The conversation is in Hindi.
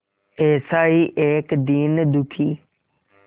ऐसा ही एक दीन दुखी